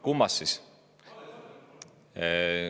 Kummast siis?